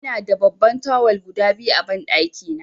Ina da babban tawul guda biyu a banɗaki na.